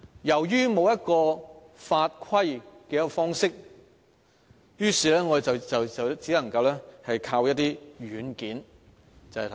由於欠缺法規的規範，我們只能依靠一些軟件。